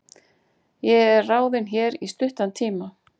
Ég er ráðinn hér í stuttan tíma.